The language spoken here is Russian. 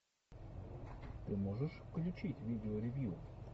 ты можешь включить видео ревью